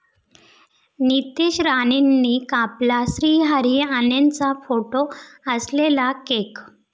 नितेश राणेंनी कापला श्रीहरी अणेंचा फोटो असलेला केक!